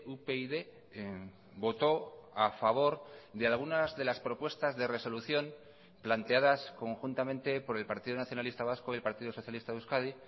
upyd votó a favor de algunas de las propuestas de resolución planteadas conjuntamente por el partido nacionalista vasco y el partido socialista de euskadi